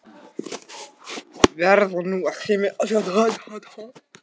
ALEXANDER: Verið nú ekki með ólíkindalæti.